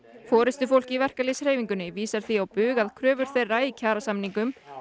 forystufólk í verkalýðshreyfingunni vísar því á bug að kröfur þeirra í kjarasamningum